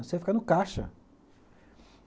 Você fica no caixa.